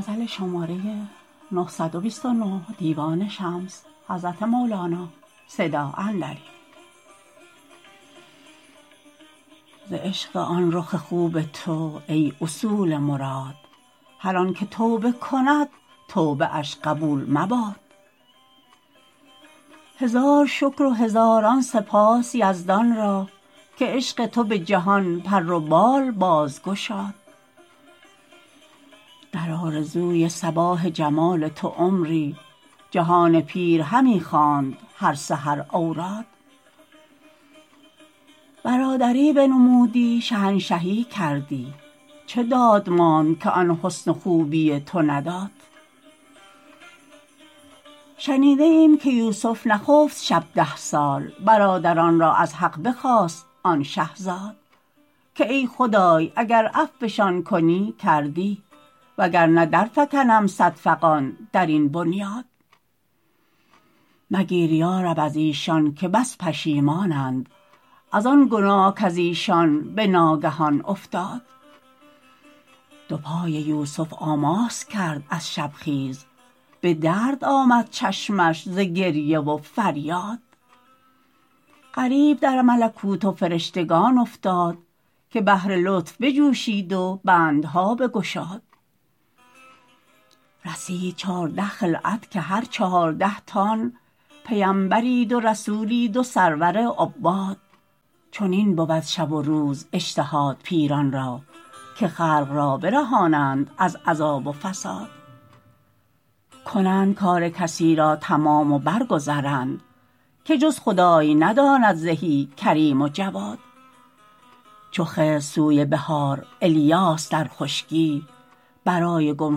ز عشق آن رخ خوب تو ای اصول مراد هر آن که توبه کند توبه اش قبول مباد هزار شکر و هزاران سپاس یزدان را که عشق تو به جهان پر و بال بازگشاد در آرزوی صباح جمال تو عمری جهان پیر همی خواند هر سحر اوراد برادری بنمودی شهنشهی کردی چه داد ماند که آن حسن و خوبی تو نداد شنیده ایم که یوسف نخفت شب ده سال برادران را از حق بخواست آن شه زاد که ای خدای اگر عفوشان کنی کردی وگر نه درفکنم صد فغان در این بنیاد مگیر یا رب از ایشان که بس پشیمانند از آن گناه کز ایشان به ناگهان افتاد دو پای یوسف آماس کرد از شبخیز به درد آمد چشمش ز گریه و فریاد غریو در ملکوت و فرشتگان افتاد که بهر لطف بجوشید و بندها بگشاد رسید چارده خلعت که هر چهارده تان پیمبرید و رسولید و سرور عباد چنین بود شب و روز اجتهاد پیران را که خلق را برهانند از عذاب و فساد کنند کار کسی را تمام و برگذرند که جز خدای نداند زهی کریم و جواد چو خضر سوی بحار ایلیاس در خشکی برای گم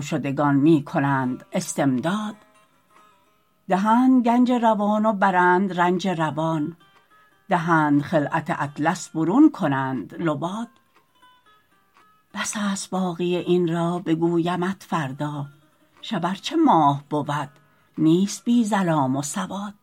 شدگان می کنند استمداد دهند گنج روان و برند رنج روان دهند خلعت اطلس برون کنند لباد بس است باقی این را بگویمت فردا شب ار چه ماه بود نیست بی ظلام و سواد